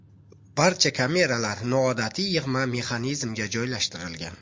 Barcha kameralar noodatiy yig‘ma mexanizmga joylashtirilgan.